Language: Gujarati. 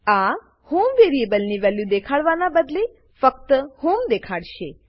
આ હોમ વેરીએબલની વેલ્યુ દેખાડવા ના બદલે ફક્ત હોમ દેખાડશે